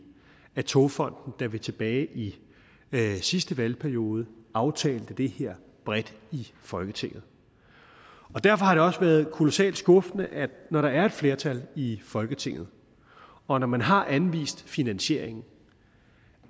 af togfonden da vi tilbage i sidste valgperiode aftalte det her bredt i folketinget og derfor har det også været kolossalt skuffende når der er et flertal for i folketinget og når man har anvist finansieringen